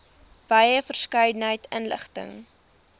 wye verskeidenheid inligting